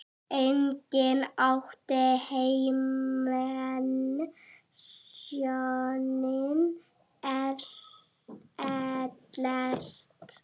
Einnig átti Hermann soninn Ellert.